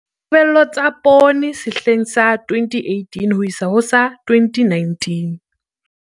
Ditebello tsa poone sehleng sa 2018-2019